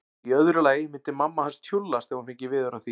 Í öðru lagi myndi mamma hans tjúllast ef hún fengi veður af því.